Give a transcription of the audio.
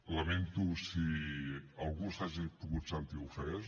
lamento si algú s’ha pogut sentir ofès